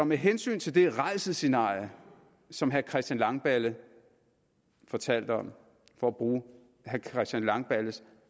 med hensyn til det rædselsscenarie som herre christian langballe fortalte om for at bruge herre christian langballes